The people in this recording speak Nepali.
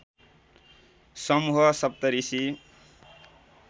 समूह सप्तऋषि